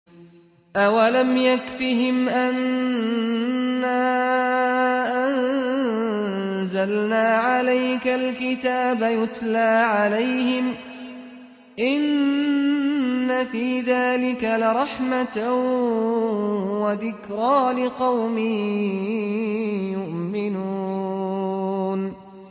أَوَلَمْ يَكْفِهِمْ أَنَّا أَنزَلْنَا عَلَيْكَ الْكِتَابَ يُتْلَىٰ عَلَيْهِمْ ۚ إِنَّ فِي ذَٰلِكَ لَرَحْمَةً وَذِكْرَىٰ لِقَوْمٍ يُؤْمِنُونَ